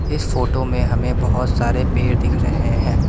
इस फोटो में हमें बहोत सारे पेड़ दिख रहे हैं।